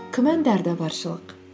күмәндар да баршылық